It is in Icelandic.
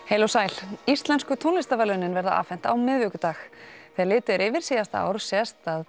heil og sæl Íslensku tónlistarverðlaunin verða afhent á miðvikudag þegar litið er yfir síðasta ár sést að